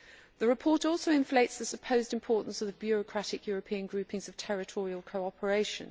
The report also inflates the supposed importance of the bureaucratic European groupings of territorial cooperation.